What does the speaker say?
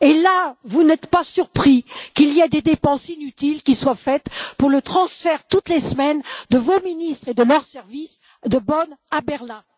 Là, vous n'êtes pas surpris qu'il y ait des dépenses inutiles qui soient engagées pour le transfert, toutes les semaines, de vos ministres et de leurs services de Bonn à Berlin?